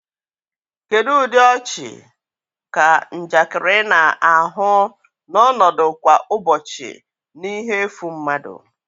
Kedu ụdị ọchị ka njakịrị na-ahụ na ọnọdụ kwa ụbọchị na ihe efu mmadụ?